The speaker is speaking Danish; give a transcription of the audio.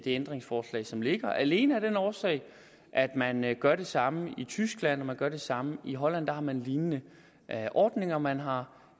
ændringsforslag som ligger alene af den årsag at man gør det samme i tyskland og at man gør det samme i holland der har man lignende ordninger man har